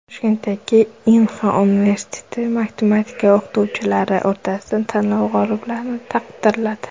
Toshkentdagi Inha universiteti matematika o‘qituvchilari o‘rtasidagi tanlov g‘oliblarini taqdirladi.